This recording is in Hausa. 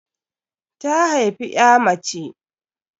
Ta haifi ƴa mace.